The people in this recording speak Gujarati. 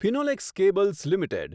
Finolex cables limited